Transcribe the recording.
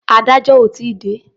Adájọ́ ò tí ì dé.